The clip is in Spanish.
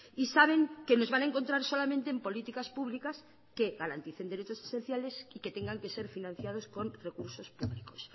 y saben que los van a encontrar solamente en políticas públicas que garanticen derechos esenciales y que tengan que ser financiados con recursos públicos